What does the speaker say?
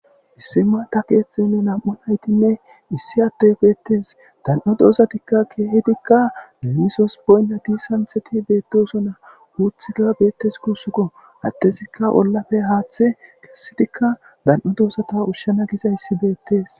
issi maata keeththenne nam7u naytinne issi atte beettes dan7o doozatikka keehetikka memisos boynna di santheti beettosona huuthika beettes kuusukko attezikka ollafe haaththe kessitikka dan7o doosata ushshena gizayssi beettes